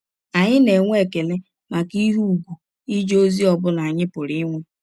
Anyị na - enwe ekele maka ihe ùgwù ije ọzi ọ bụla anyị pụrụ inwe.